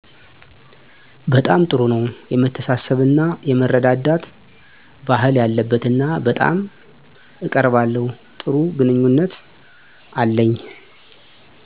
በጣም ጥሩ ነው የመተሳሰብ እና የመረዳዳት ባህል ያለበት እና በጣም እቀራለባለሁ ጥሩ ግንኙነት አለኝ